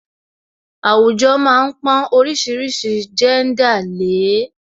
Àwùjọ má ń pọn oríṣiríṣi jẹ́ńdà lè é